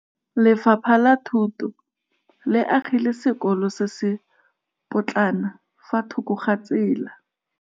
Lefapha la Thuto le agile sekôlô se se pôtlana fa thoko ga tsela.